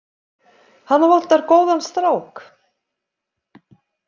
Hana vantar góðan strák.